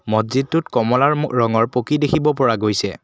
মছজিদটোত কমলা ৰঙৰ পকী দেখিব পৰা গৈছে।